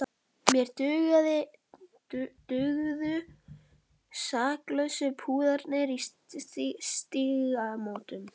Mér dugðu saklausu púðarnir í Stígamótum!